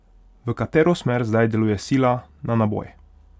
V katero smer zdaj deluje sila na naboj?